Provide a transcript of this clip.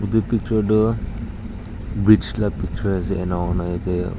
Tu picture tu bridge la picture ase enahoina.